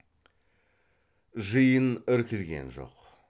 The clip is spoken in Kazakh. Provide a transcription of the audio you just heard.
жиын іркілген жоқ